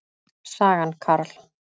Sagan, Carl.